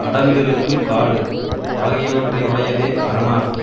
அடர்ந்திருக்கும் காடு ஆகியவற்றை உடையதே அரணாகும்